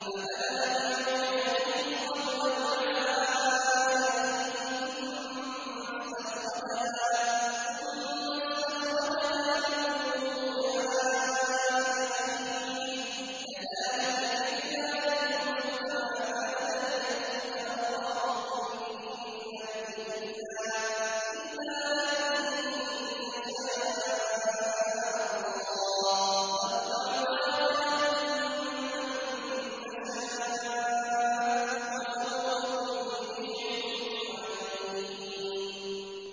فَبَدَأَ بِأَوْعِيَتِهِمْ قَبْلَ وِعَاءِ أَخِيهِ ثُمَّ اسْتَخْرَجَهَا مِن وِعَاءِ أَخِيهِ ۚ كَذَٰلِكَ كِدْنَا لِيُوسُفَ ۖ مَا كَانَ لِيَأْخُذَ أَخَاهُ فِي دِينِ الْمَلِكِ إِلَّا أَن يَشَاءَ اللَّهُ ۚ نَرْفَعُ دَرَجَاتٍ مَّن نَّشَاءُ ۗ وَفَوْقَ كُلِّ ذِي عِلْمٍ عَلِيمٌ